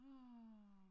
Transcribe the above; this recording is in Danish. Åh